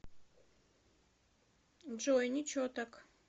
джой ниче так